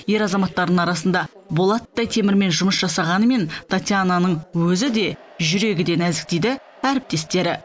ер азаматтардың арасында болаттай темірмен жұмыс жасағанымен татьянаның өзі де жүрегі де нәзік дейді әріптестері